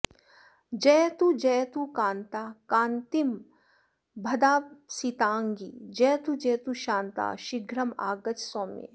जयतु जयतु कान्ता कान्तिमद्भासिताङ्गी जयतु जयतु शान्ता शीघ्रमागच्छ सौम्ये